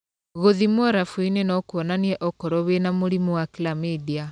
Gũthimwo rabu-inĩ no kũonanie okorwo wĩna mũrimũ wa Chlamydia.